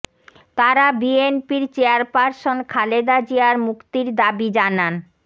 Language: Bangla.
তারা বিএনপির চেয়ারপারসন খালেদা জিয়ার মুক্তির দাবি জানান